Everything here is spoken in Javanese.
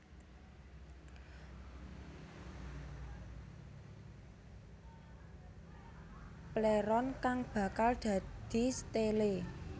Pléron kang bakal dadi stélé